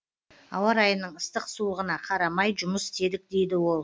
ауа райының ыстық суығына қарамай жұмыс істедік дейді ол